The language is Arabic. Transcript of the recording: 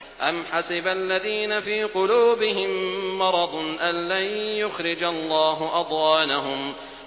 أَمْ حَسِبَ الَّذِينَ فِي قُلُوبِهِم مَّرَضٌ أَن لَّن يُخْرِجَ اللَّهُ أَضْغَانَهُمْ